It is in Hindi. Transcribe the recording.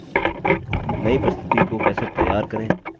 नई प्रस्तुति प्रज़ेन्टैशन कैसे तैयार करें